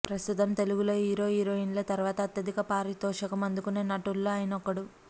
ప్రస్తుతం తెలుగులో హీరో హీరోయిన్ల తర్వాత అత్యధిక పారితోషకం అందుకునే నటుల్లో ఆయనొకడు